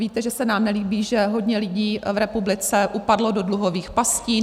Víte, že se nám nelíbí, že hodně lidí v republice upadlo do dluhových pastí.